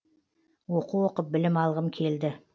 оқу оқып білім алғым келді